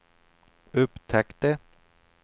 upptäckte